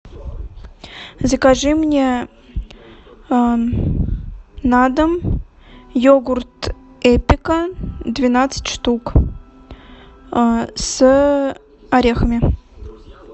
закажи мне на дом йогурт эпика двенадцать штук с орехами